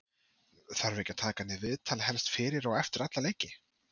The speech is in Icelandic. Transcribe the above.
þarf ekki að taka hann í viðtal helst fyrir og eftir alla leiki?